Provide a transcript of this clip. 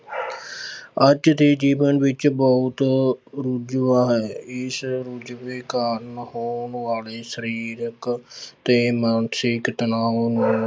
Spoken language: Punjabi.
ਅੱਜ ਦੇ ਜੀਵਨ ਵਿੱਚ ਬਹੁਤ ਰੁਝੇਵਾਂ ਹੈ ਇਸ ਰੁਝੇਵੇਂ ਕਾਰਨ ਹੋਣ ਵਾਲੇ ਸਰੀਰਕ ਤੇ ਮਾਨਸਿਕ ਤਨਾਅ ਨੂੰ